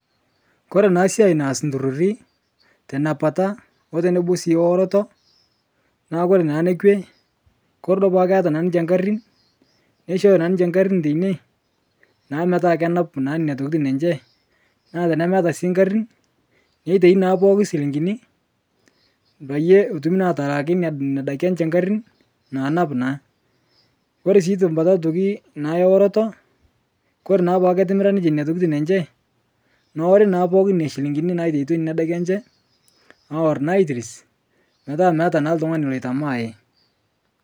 Koe naa siai naaz ntururii tenapata otonobo sii ooroto naa kore naa nekwee kore duo peaku keata ninshe nkarin neishooyo naa ninshe nkarin teinie naa metaa kenap naa nenia tokitin enshe naa tenemeata sii nkarin neitaini naa pooki silinkini peiye etumii naa atalaaki nenia daki enshee nkarin naanap naa. kore sii tambata otoki eorotoo kore naa peaku ketimira ninshee nenia tokitin enshee noori naa pooki nenia shilingini naitaitua nenia dakii enshe awor naa aitiris metaa meata naa ltung'ani loitamaai.